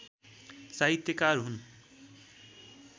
साहित्यकार हुन्